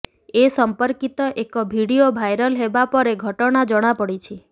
ଏ ସମ୍ପର୍କିତ ଏକ video viral ହେବା ପରେ ଘଟଣା ଜଣା ପଡ଼ିଛି